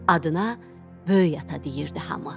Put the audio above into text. Adına böyük ata deyirdi hamı.